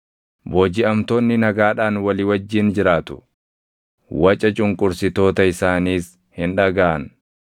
Boojiʼamtoonni nagaadhaan walii wajjin jiraatu; waca cunqursitoota isaaniis hin dhagaʼan.